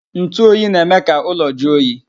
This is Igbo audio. Ntu oyi na-eme ka ụlọ jụọ oyi.